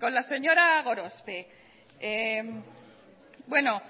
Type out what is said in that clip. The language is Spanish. con la señora gorospe bueno